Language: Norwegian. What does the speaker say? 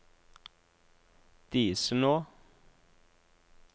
Disenå